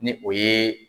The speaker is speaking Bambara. Ni o ye